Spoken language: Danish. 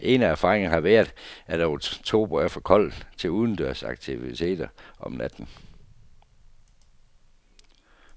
En af erfaringerne har været, at oktober er for kold til udendørs aktiviteter om natten.